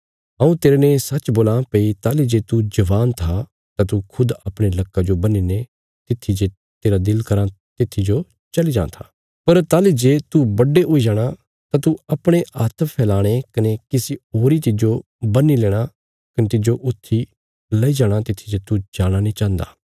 हऊँ तेरने सच्च बोलां भई ताहली जे तू जवान था तां तू खुद अपणे लक्का जो बन्हीने तित्थी जे तेरा दिल कराँ तित्थी जो चली जां था पर ताहली जे तू बुड्डे हुई जाणा तां तू अपणे हात्थ फैलाणे कने किसी होरी तिज्जो बन्ही लेणा कने तिज्जो उत्थी लेई जाणा तित्थी जे तू जाणा नीं चाहन्गा